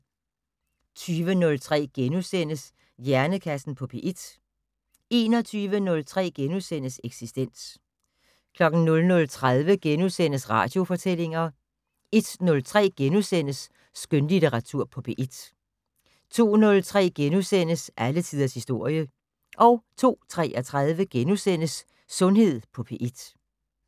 20:03: Hjernekassen på P1 * 21:03: Eksistens * 00:30: Radiofortællinger * 01:03: Skønlitteratur på P1 * 02:03: Alle tiders historie * 02:33: Sundhed på P1 *